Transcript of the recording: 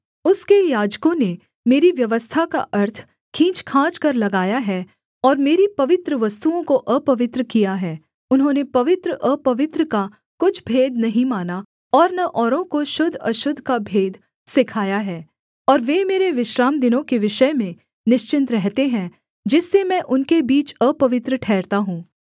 उसके याजकों ने मेरी व्यवस्था का अर्थ खींचखांचकर लगाया है और मेरी पवित्र वस्तुओं को अपवित्र किया है उन्होंने पवित्रअपवित्र का कुछ भेद नहीं माना और न औरों को शुद्धअशुद्ध का भेद सिखाया है और वे मेरे विश्रामदिनों के विषय में निश्चिन्त रहते हैं जिससे मैं उनके बीच अपवित्र ठहरता हूँ